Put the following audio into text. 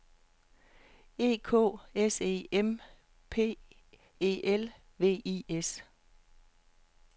E K S E M P E L V I S